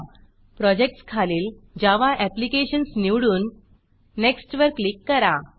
प्रोजेक्टसखालील Java applications Java applications निवडून next next वर click करा